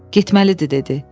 Getməlidir dedi.